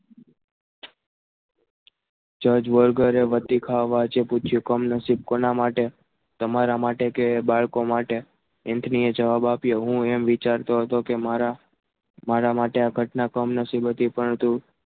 જ્યોજ વગેરે ગતિ ખાવા માટે પૂછ્યું કમ નસીબ કોના માટે તમારા માટે કે બાળકો માટે એન્થની જવાબ આપ્યો કે હું એમ વિચારતો હતો કે મારા મારા માટે આ ઘટના કમ નસીબ હતી પરંતુ